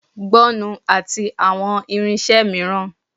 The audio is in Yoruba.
gbọnnu ati awọn irinṣẹ miiran